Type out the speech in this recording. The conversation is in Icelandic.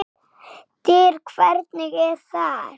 DYR, HVERNIG ER ÞAÐ!